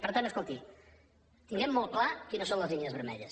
per tant escolti tinguem molt clar quines són les línies vermelles